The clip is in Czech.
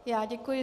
Já děkuji.